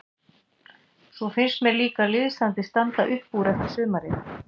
Svo finnst mér líka liðsandinn standa upp úr eftir sumarið.